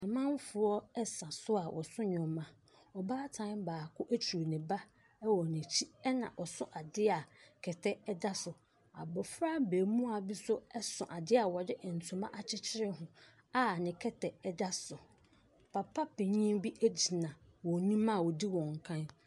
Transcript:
Amanfoɔ ɛsa so a wɔso ɛniɛma ɔbaatan baako etru ne ba ɛwɔ nekyi ɛna ɔso adeɛ kɛtɛ ɛda so abɔfra mbemua bi so ɛso adea yɛde ntoma akyekyere ho a ne kɛtɛ ɛda so papa panyin bi egyina wɔn enim a wodi wɔn kan.